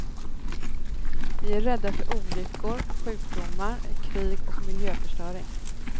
Vi är rädda för olyckor, sjukdomar, krig och miljöförstöring.